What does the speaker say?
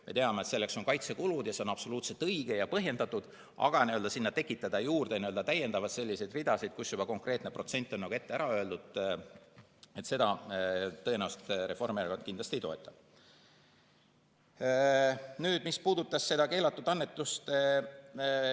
Me teame, et selleks on kaitsekulud – ja see on absoluutselt õige ja põhjendatud –, aga sinna tekitada juurde selliseid ridasid, kus konkreetne protsent on ette ära öeldud, seda Reformierakond tõenäoliselt ei toeta.